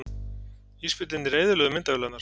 Ísbirnirnir eyðilögðu myndavélarnar